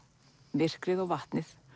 myrkrið og vatnið